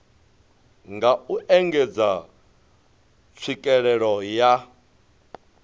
nga u engedza tswikelelo ya